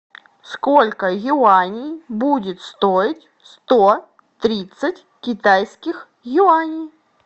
сколько юаней будет стоить сто тридцать китайских юаней